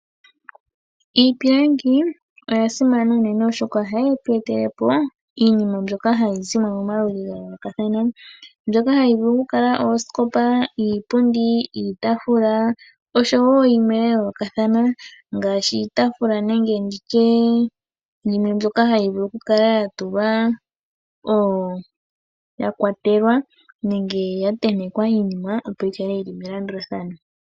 Iipilangi oyasimana unene oshoka ohayi tu etelepo iinima mbyoka hayi zimo momaludhi ga yoolokathana, mbyoka hayi vulu okukala oosikopa, iipundi, iitafula oshowo yimwe ya yoolokathana , ngaashi iitafula nenge nditye yimwe mbyoka hayi vulu okukala yatulwa, yakwatelwa nenge yatentekwa iinima opo yikale yili melandulathano.